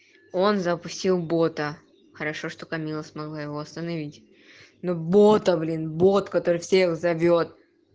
он запустил бота хорошо что камилла смогла его остановить но бота блин бот который всех зовёт